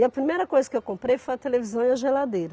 E a primeira coisa que eu comprei foi a televisão e a geladeira.